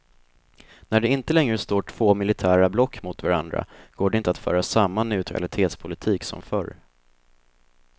När det inte längre står två militära block mot varandra, går det inte att föra samma neutralitetspolitik som förr.